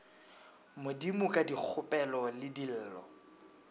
modimo ka dikgopelo le dillo